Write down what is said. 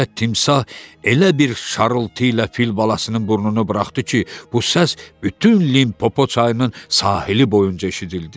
Nəhayət timsah elə bir şarıltı ilə fil balasının burnunu buraxdı ki, bu səs bütün Limpopo çayının sahili boyunca eşidildi.